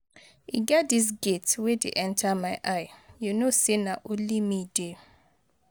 E get dis gate wey dey enter my eye. You no say na only me dey.